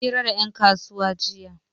Mun yi fira da 'yan kasuwa